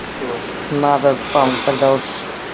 надо там тогда уж